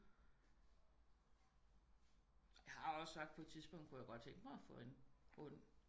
Jeg har også sagt på et tidspunkt kunne jeg godt tænke mig at få en hund